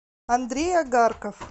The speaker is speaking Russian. андрей огарков